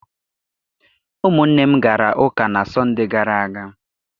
Ụmụnne m gara ụka na Sọndee gara aga.